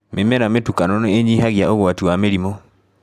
Mĩmera mĩtukanu nĩ ĩnyihagia ũgwati wa mĩrimũ.